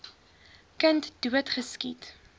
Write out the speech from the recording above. kind dood geskiet